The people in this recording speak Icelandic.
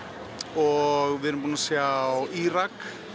og við erum búin að sjá Írak